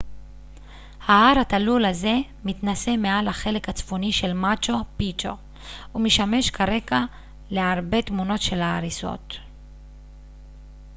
ההר התלול הזה מתנשא מעל החלק הצפוני של מאצ'ו פיצ'ו ומשמש כרקע להרבה תמונות של ההריסות